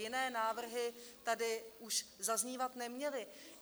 Jiné návrhy tady už zaznívat neměly.